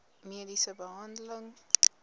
mediese behandeling